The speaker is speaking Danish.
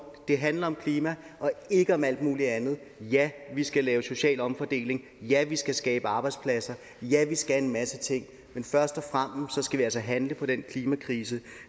det handler om klima og ikke om alt muligt andet ja vi skal lave social omfordeling ja vi skal skabe arbejdspladser ja vi skal en masse ting men først og fremmest skal vi altså handle på den klimakrise